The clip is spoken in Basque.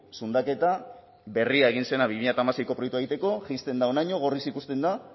zundaketa berria egin zena bi mila hamaseiko proiektua egiteko jaisten da honaino gorriz ikusten da